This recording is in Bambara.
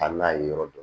A n'a ye yɔrɔ dɔ